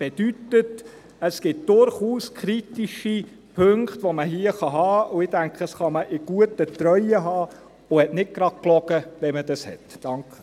» Dies bedeutet: Es gibt durchaus kritische Punkte, die man hier festhalten kann, und ich denke, man kann sie in guter Treue haben und hat nicht gerade gelogen, wenn man dies getan hat.